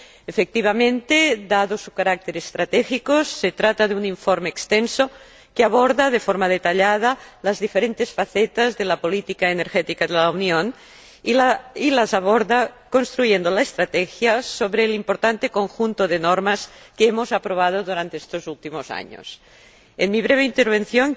Efectivamente, dado su carácter estratégico, se trata de un informe extenso que aborda de forma detallada las diferentes facetas de la política energética de la Unión y las aborda construyendo la estrategia sobre el importante conjunto de normas que hemos aprobado durante estos últimos años. En mi breve intervención